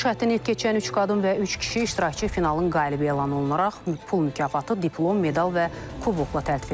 Finiş xəttini keçən üç qadın və üç kişi iştirakçı finalın qalibi elan olunaraq pul mükafatı, diplom, medal və kubokla təltif edilib.